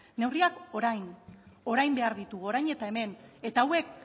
neurriak orain orain behar ditugu orain eta hemen eta hauek